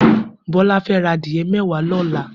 Bola fè rà adiẹ mẹwá lọlá